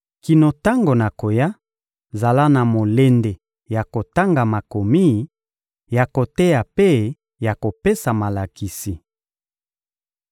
Kino tango nakoya, zala na molende ya kotanga Makomi, ya koteya mpe ya kopesa malakisi.